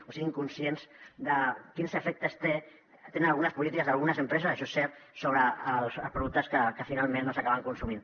o siguin conscients de quins efectes tenen algunes polítiques d’algunes empreses això és cert sobre els productes que finalment doncs s’acaben consumint